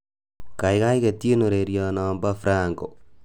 kaigai ketyin ureryonobo franco